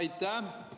Aitäh!